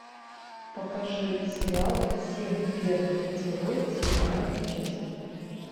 покажи сериал семь первых поцелуев седьмая часть